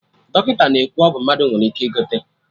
Dọkịta na-ekwu ọgwụ mmadụ nwere ike ị gote